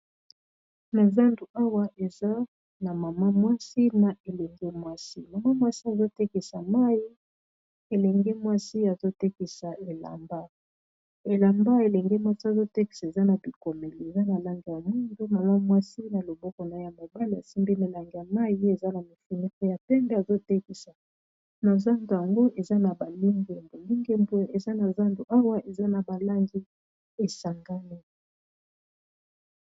Na zandu awa eza na mama mwasi na elenge mwasi, mama mwasi azotekisa mai elenge mwasi azotekisa elamba, elamba elenge mwatsi azotekisa eza na bikomeli eza na langi ya mwindo mwana mwasi na loboko na ye mobali asimbi melangi ya mai eza na mifunikoi pe ya pembe azotekisa nozandu yango eza na balangi ya lingembe eza na zandu awa eza na balangi esangani.